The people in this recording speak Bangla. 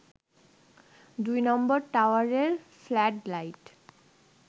২ নম্বর টাওয়ারের ফ্লাড লাইট